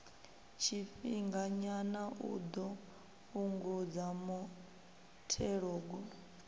tshifhinganyana u ḓo fhungudza muthelogu